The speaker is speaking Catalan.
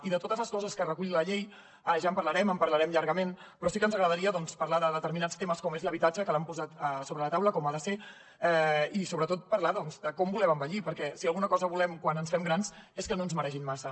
i de totes les coses que recull la llei ja en parlarem en parlarem llargament però sí que ens agradaria doncs parlar de determinats temes com l’habitatge que l’han posat sobre la taula com ha de ser i sobretot parlar de com volem envellir perquè si alguna cosa volem quan ens fem grans és que no ens maregin massa